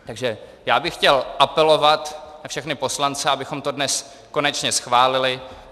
Takže já bych chtěl apelovat na všechny poslance, abychom to dnes konečně schválili.